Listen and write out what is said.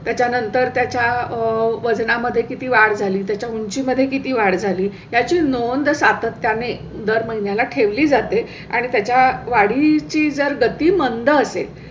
त्याच्या नंतर त्याच्या वजना मध्ये किती वाढ झाली त्याच्या उंची मध्ये किती वाढ झाली याची नोंद सातत्या ने दर महिन्या ला ठेवली जाते आणि त्याच्या वाढीची जर गतीमंद असे.